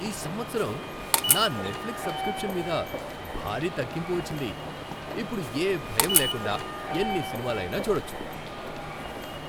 ఈ సంవత్సరం నా నెట్ఫ్లిక్స్ సబ్స్క్రిప్షన్ మీద భారీ తగ్గింపు వచ్చింది. ఇప్పుడు ఏ భయం లేకుండా ఎన్ని సినిమాలైనా చూడొచ్చు.